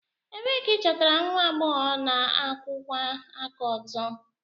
Ebee ka ịchọtara nwa agbọghọ na-akwụwa aka ọtọ?